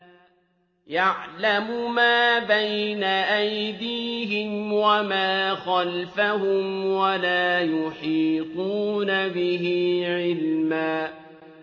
يَعْلَمُ مَا بَيْنَ أَيْدِيهِمْ وَمَا خَلْفَهُمْ وَلَا يُحِيطُونَ بِهِ عِلْمًا